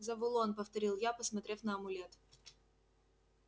завулон повторил я посмотрев на амулет